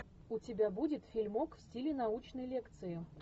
у тебя будет фильмок в стиле научной лекции